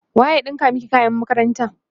waye ya ɗinka maki kayan makaranta?